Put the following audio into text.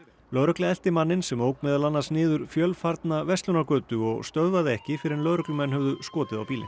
lögregla elti manninn sem ók meðal annars niður fjölfarna verslunargötu og stöðvaði ekki fyrr en lögreglumenn höfðu skotið á bílinn